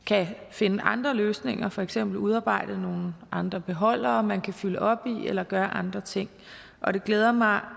finde andre løsninger for eksempel udarbejde nogle andre beholdere man kan fylde op i eller gøre andre ting og det glæder mig